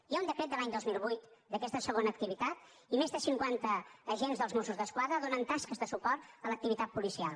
hi ha un decret de l’any dos mil vuit d’aquesta segona activitat i més de cinquanta agents dels mossos d’esquadra donen tasques de suport a l’activitat policial